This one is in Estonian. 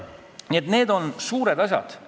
Nii et need on suured asjad.